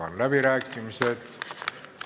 Avan läbirääkimised.